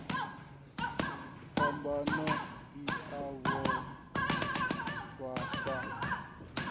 phambano i a vhofha sa